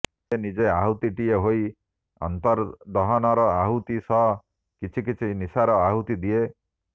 ସେ ନିଜେ ଆହୁତିଟିଏ ହୋଇ ଅନ୍ତର୍ଦହନର ଆହୁତି ସହ କିଛିକିଛି ନିଶାର ଆହୁତି ଦିଏ